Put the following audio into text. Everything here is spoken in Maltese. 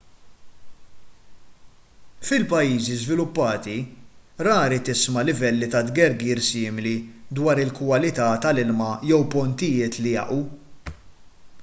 fil-pajjiżi żviluppati rari tisma' livelli ta' tgergir simili dwar il-kwalità tal-ilma jew pontijiet li jaqgħu